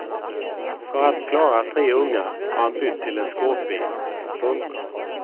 För att klara tre ungar har han bytt till en skåpbil. punkt